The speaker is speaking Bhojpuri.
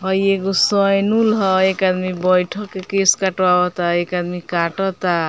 हई एगो सैनूल ह एक आदमी बैठ के केस कटवाव त एक आदमी काटता।